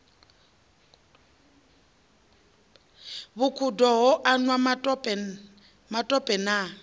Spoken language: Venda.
vhukhudo ho anwa matope na